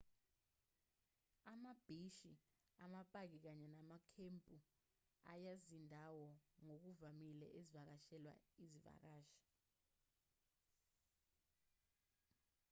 ambhishi amapaki kanye namakhempu ayizindawo ngokuvamile ezivakashelwa izivakashi